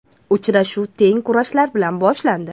Uchrashuv teng kurashlar bilan boshlandi.